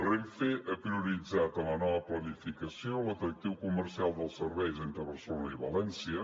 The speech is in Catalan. renfe ha prioritzat en la nova planificació l’atractiu comercial dels serveis entre barcelona i valència